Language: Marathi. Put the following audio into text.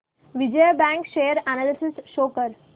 Vijaya bank share analysis show कर